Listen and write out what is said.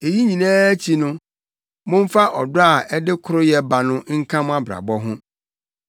Eyi nyinaa akyi no, momfa ɔdɔ a ɛde koroyɛ ba no nka mo abrabɔ ho.